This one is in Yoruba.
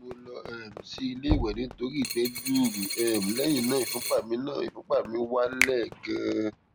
mo lọ um sí ilé ìwẹ nítorí ìgbẹ gbuuru um lẹyìn náà ìfúnpá mi náà ìfúnpá mi wá wálẹ ganan